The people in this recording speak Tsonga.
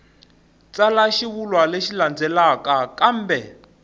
tsala xivulwa lexi landzelaka kambe